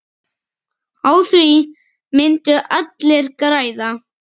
Á því myndu allir græða.